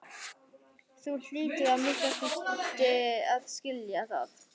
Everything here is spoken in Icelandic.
Þú hlýtur að minnsta kosti að skilja það.